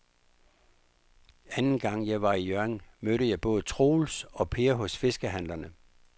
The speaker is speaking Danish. Anden gang jeg var i Hjørring, mødte jeg både Troels og Per hos fiskehandlerne.